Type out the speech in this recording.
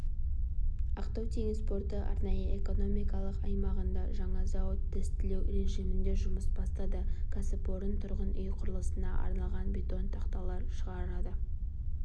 ақтау теңіз порты арнайы экономикалық аймағында жаңа зауыт тестілеу режимінде жұмысын бастады кәсіпорын тұрғын үй құрылысына арналған бетон тақталар шығарады